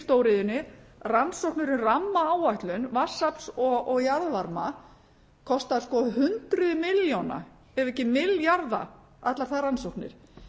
stóriðjunni rannsóknir um rammaáætlun vatnsafls og jarðvarma kostar sko hundruð milljóna ef ekki milljarða allar þær rannsóknir